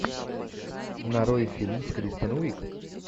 нарой фильм с кристен уиг